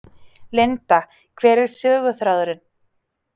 Linda: Hver er söguþráðurinn?